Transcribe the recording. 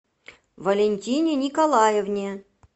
валентине николаевне